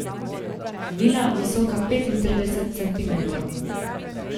Vila, visoka petintrideset centimetrov.